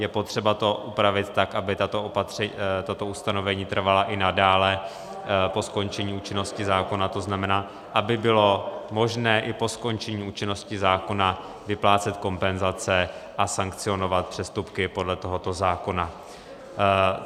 Je potřeba to upravit tak, aby tato ustanovení trvala i nadále po skončení účinnosti zákona, to znamená, aby bylo možné i po skončení účinnosti zákona vyplácet kompenzace a sankcionovat přestupky podle tohoto zákona.